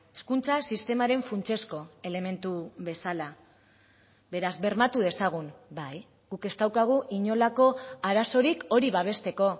hezkuntza sistemaren funtsezko elementu bezala beraz bermatu dezagun bai guk ez daukagu inolako arazorik hori babesteko